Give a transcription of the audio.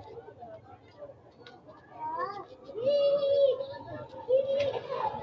ikkana konne daalasa loonsoonnihuno xaaulunni ikkanna qaccete noohu kaayiini qaaqullu daalasaati